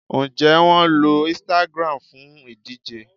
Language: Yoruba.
Ǹjẹ́ wọn lo Instagram fún ìdíje